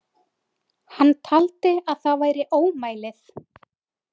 Hann taldi að það væri ómælið.